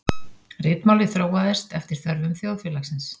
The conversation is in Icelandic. Ritmálið þróaðist eftir þörfum þjóðfélagsins.